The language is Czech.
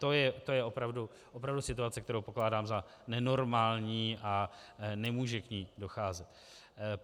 To je opravdu situace, kterou pokládám za nenormální, a nemůže k ní docházet.